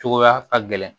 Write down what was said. Cogoya ka gɛlɛn